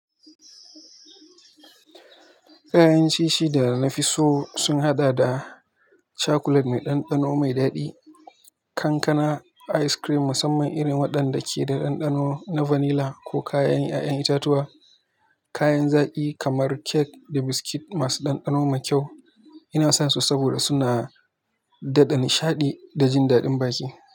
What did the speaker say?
Kayan ciye-ciye da na fi so sun haɗa da cakulet mai ɗanɗano mai daɗi, kankana, ayis kirim musamman irin waɗanda ke da ɗanɗano na fanila ko kayan ƴaƴen itatuwa, kayan zaƙi kamar kek da biskit masu ɗanɗano mai kyau. Ina sonsu saboda suna dada nishaɗi da jin daɗin baki.